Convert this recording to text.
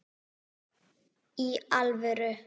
Í alvöru!